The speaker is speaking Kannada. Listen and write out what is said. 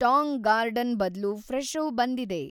ಟಾಂಗ್‌ ಗಾರ್ಡನ್ ಬದ್ಲು ಫ್ರೆಶೋ ಬಂದಿದೆ